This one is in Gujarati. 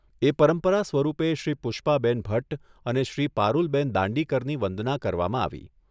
એ પરંપરા સ્વરૂપે શ્રી પુષ્પાબેન ભટ્ટ અને શ્રી પારૂલબેન દાંડીકરની વંદના કરવામાં આવી.